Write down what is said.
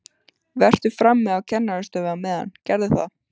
Vertu frammi á kennarastofu á meðan, gerðu það!